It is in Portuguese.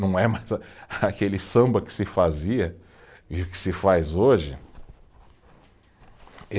Não é mais a, aquele samba que se fazia e que se faz hoje.